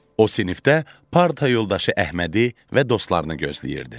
O sinifdə parta yoldaşı Əhmədi və dostlarını gözləyirdi.